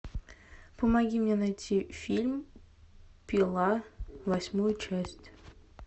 помоги мне найти фильм пила восьмая часть